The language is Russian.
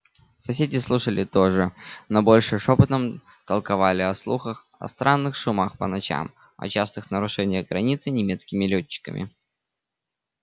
соседи слушали тоже но больше шёпотом толковали о слухах о странных шумах по ночам о частых нарушениях границы немецкими лётчиками